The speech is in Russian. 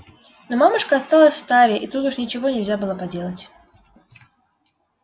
но мамушка осталась в таре и тут уж ничего нельзя было поделать